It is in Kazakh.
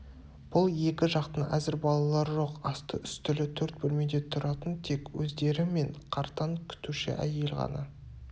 бұл екі жақтың әзір балалары жоқ асты-үстілі төрт бөлмеде тұратын тек өздері мен қартаң күтуші әйел ғана